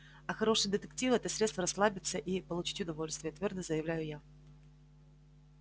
а хорошие детективы это средство расслабиться и получить удовольствие твёрдо заявляю я